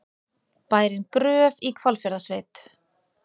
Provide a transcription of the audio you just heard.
Bærinn Gröf í Hvalfjarðarsveit.